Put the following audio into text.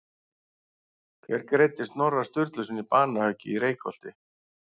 Hver greiddi Snorra Sturlusyni banahöggið í Reykholti?